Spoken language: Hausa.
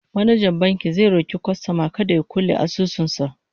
manajan bankin zai roki kwastoman kada ya kulle asusun sa